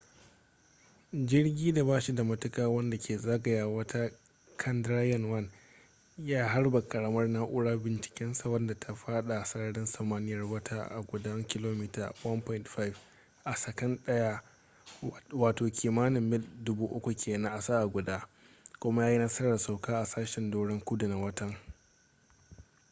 jirgi da ba shi da matuka wanda ke zagaya wata chandrayan-1 ya harba karamar na’urar bincikensa wadda ta fada sararin samaniyar wata a gudun kilomita 1.5 a sakan daya wato kimanin mil 3000 kenan a sa’a guda kuma ya yi nasarar sauka a sashen doron kudu na watan